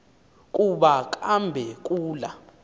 kuba kambe kula